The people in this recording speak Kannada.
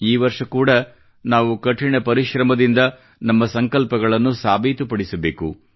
ಈ ವರ್ಷ ಕೂಡಾ ನಾವು ಕಠಿಣ ಪರಿಶ್ರಮದಿಂದ ನಮ್ಮ ಸಂಕಲ್ಪಗಳನ್ನು ಸಾಬೀತುಪಡಿಸಬೇಕು